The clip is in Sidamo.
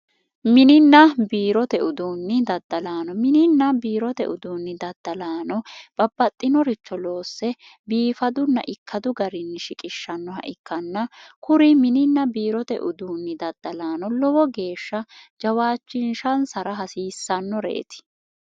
mininna biirote uduunni daddalaano mininna biirote uduunni daddalaano babbaxxinoricho loosse biifadunna ikkadu garini shiqishshannoha ikkanna kuri mininna biirote uduunni daddalaano lowo geeshsha jawaachinshansara hasiissannoreeti